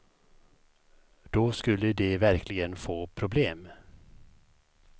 Då skulle de verkligen få problem.